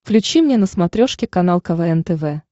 включи мне на смотрешке канал квн тв